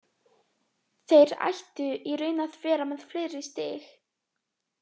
Þeir ættu í raun að vera með fleiri stig.